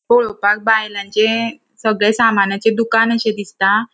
पोळोपाक बायलांचे सगळे सामानाचे दुकान अशे दिसता.